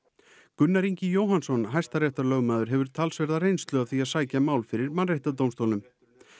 Gunnar Ingi Jóhannsson hæstaréttarlögmaður hefur talsverða reynslu af því að sækja mál fyrir Mannréttindadómstólnum